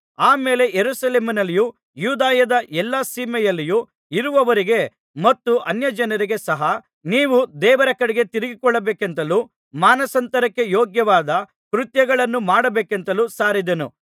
ಆಮೇಲೆ ಯೆರೂಸಲೇಮಿನಲ್ಲಿಯೂ ಯೂದಾಯದ ಎಲ್ಲಾ ಸೀಮೆಯಲ್ಲಿಯೂ ಇರುವವರಿಗೆ ಮತ್ತು ಅನ್ಯಜನರಿಗೆ ಸಹ ನೀವು ದೇವರ ಕಡೆಗೆ ತಿರುಗಿಕೊಳ್ಳಬೇಕೆಂತಲೂ ಮಾನಸಾಂತರಕ್ಕೆ ಯೋಗ್ಯವಾದ ಕೃತ್ಯಗಳನ್ನು ಮಾಡಬೇಕೆಂತಲೂ ಸಾರಿದೆನು